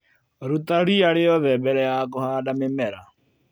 Ruta ria rĩothe mbere ya kũhanda mĩmera.